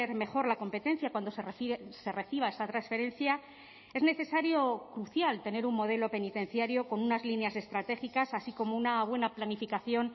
mejor la competencia cuando se reciba esa transferencia es necesario crucial tener un modelo penitenciario con unas líneas estratégicas así como una buena planificación